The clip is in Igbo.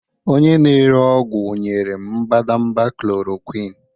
onye na-ere ọgwụ nyere m mbadamba chloroquine